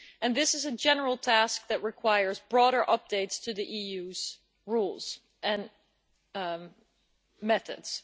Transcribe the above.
This is a general task that requires broader updates to the EU's rules and methods.